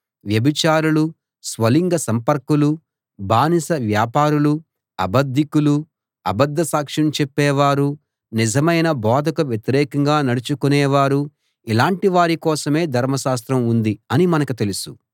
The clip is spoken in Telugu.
వ్యభిచారులూ స్వలింగ సంపర్కులూ బానిస వ్యాపారులూ అబద్ధికులూ అబద్ధ సాక్ష్యం చెప్పేవారూ నిజమైన బోధకు వ్యతిరేకంగా నడచుకొనేవారూ ఇలాటివారి కోసమే ధర్మశాస్త్రం ఉంది అని మనకు తెలుసు